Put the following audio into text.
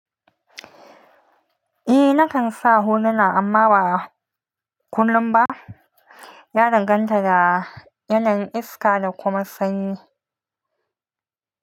Eh nakan sa huluna amma ba kullum ba. Ya danganta da yanayin iska da kuma sanyi.